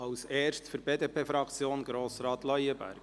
als Erstes für die BDP-Fraktion: Grossrat Leuenberger.